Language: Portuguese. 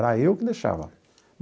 Era eu que deixava.